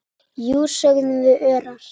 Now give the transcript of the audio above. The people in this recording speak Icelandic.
Jú, sögðum við örar.